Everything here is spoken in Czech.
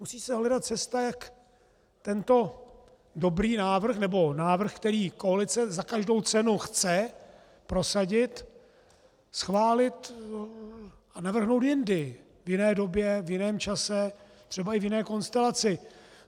Musí se hledat cesta, jak tento dobrý návrh, nebo návrh, který koalice za každou cenu chce prosadit, schválit a navrhnout jindy, v jiné době, v jiném čase, třeba i v jiné konstelaci.